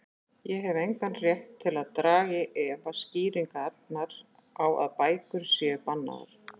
Ég hef engan rétt til að draga í efa skýringarnar á að bækur séu bannaðar.